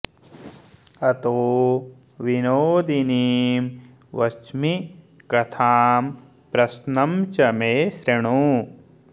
अतो विनोदिनीं वच्मि कथां प्रश्नं च मे शृणु